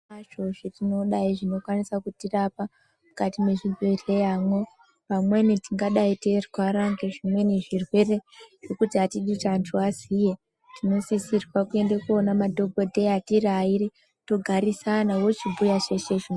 Pamweni tingadayi zvinokwanise kutirapa mukati mwechibhedhleyamwo. Pamweni tingadayi teyirwara ngezvimweni zvirwere zvekuti hatingadi kuti vantu vaziye tinosisirwe kuenda kunoone madhokodheya tiri ayiri togarisana wochibhuya zveshe izvo.